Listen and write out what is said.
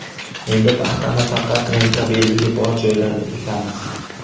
Endi paxtani faqat rentabelligi bor joylarda ekamiz.